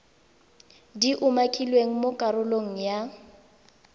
di umakilweng mo karolong ya